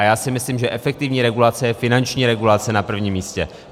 A já si myslím, že efektivní regulace je finanční regulace na prvním místě.